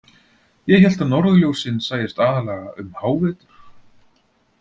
. ég hélt að norðurljósin sæjust aðallega um hávetur.